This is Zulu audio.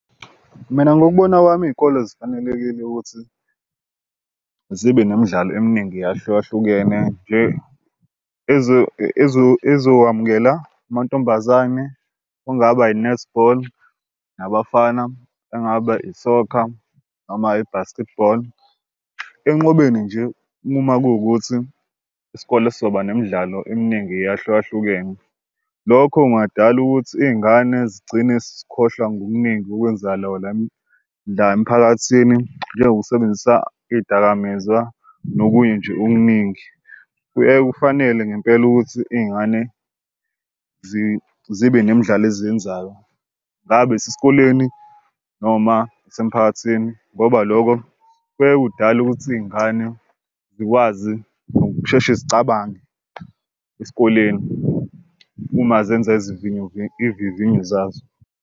Mina ngokubona kwami iy'kole zifanelekile ukuthi zibe nemidlalo eminingi eyahlukahlukene ezokwamukela amantombazane. Kungaba i-netball nabafana engaba isokha noma i-basketball enqwabeni nje uma kuwukuthi isikole sizoba nemidlalo eminingi eyahlukahlukene lokho kungadala ukuthi iy'ngane zigcine zezikhohlwa ngokuningi okwenzakalayo la emphakathini njengokusebenzisa iy'dakamizwa nokunye nje okuningi. Kuye kufanele ngempela ukuthi iy'ngane zibe nemidlalo eziyenzayo ngabe isesikoleni noma isemphakathini ngoba loko kuyaye kudale ukuthi iy'ngane zikwazi ukusheshe zicabange esikoleni uma zenza iy'vivinyo zazo.